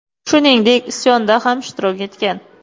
Shuningdek, isyonda ham ishtirok etgan.